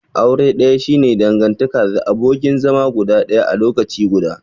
Aure daya shi ne dangantaka the abokin zama guda daya a lokaci guda.